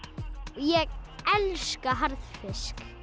ég elska harðfisk